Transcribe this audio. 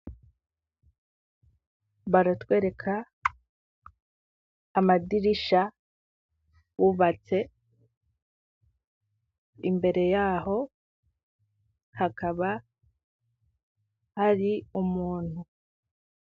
Baratwereka amadirisha, bubatse imbere yaho, hakaba hari umuntu.